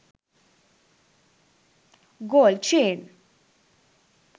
gold chain